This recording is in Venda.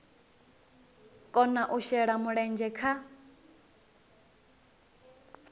kona u shela mulenzhe kha